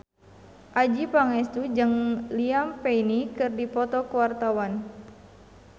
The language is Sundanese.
Adjie Pangestu jeung Liam Payne keur dipoto ku wartawan